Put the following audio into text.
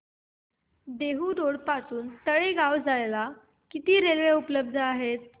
Dehu road पासून तळेगाव ला जायला किती रेल्वे उपलब्ध आहेत